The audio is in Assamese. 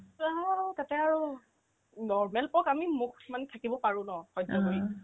তেও আৰু নভেপক আমি মোক কিছুমান থাকিব পাৰো ন সহ্য কৰি